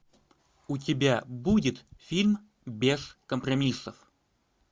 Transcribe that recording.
у тебя будет фильм без компромиссов